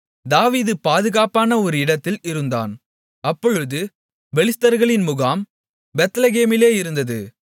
தாவீது பாதுகாப்பான ஒரு இடத்தில் இருந்தான் அப்பொழுது பெலிஸ்தர்களின் முகாம் பெத்லெகேமிலே இருந்தது